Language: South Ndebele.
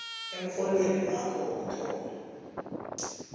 emrholweni wakho wokuthoma